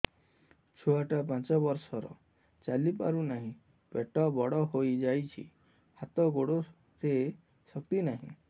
ଛୁଆଟା ପାଞ୍ଚ ବର୍ଷର ଚାଲି ପାରୁ ନାହି ପେଟ ବଡ଼ ହୋଇ ଯାଇଛି ହାତ ଗୋଡ଼ରେ ଶକ୍ତି ନାହିଁ